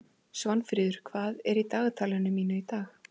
Svanfríður, hvað er í dagatalinu mínu í dag?